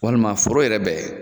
ŊWalima foro yɛrɛ bɛ